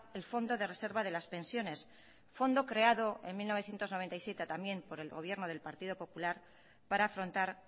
el fondo de reserva de las pensiones fondo creado en mil novecientos noventa y siete también por el gobierno del partido popular para afrontar